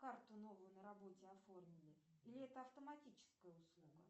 карту новую на работе оформили или это автоматическая услуга